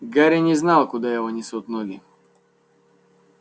гарри не знал куда его несут ноги